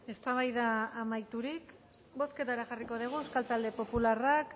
eztabaida amaiturik bozketara jarriko dugu euskal talde popularrak